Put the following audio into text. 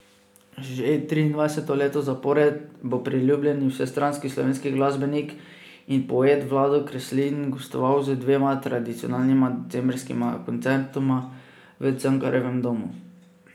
Že triindvajseto leto zapored bo priljubljeni, vsestranski slovenski glasbenik in poet Vlado Kreslin gostoval z dvema tradicionalnima decembrskima koncertoma v Cankarjevem domu.